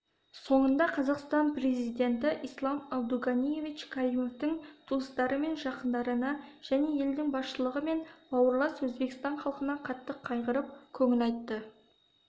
соңында қазақстан президенті ислам абдуганиевич каримовтің туыстары мен жақындарына және елдің басшылығы мен бауырлас өзбекстан халқына қатты қайғырып көңіл айтты